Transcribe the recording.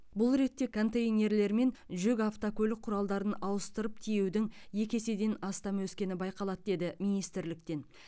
бұл ретте контейнерлер мен жүк автокөлік құралдарын ауыстырып тиеудің екі еседен астам өскені байқалады деді министрліктен